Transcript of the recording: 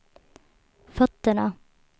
fötterna